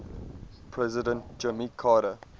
president jimmy carter